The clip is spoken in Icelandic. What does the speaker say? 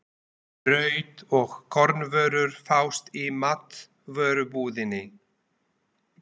Brauð og kornvörur fást í matvörubúðinni.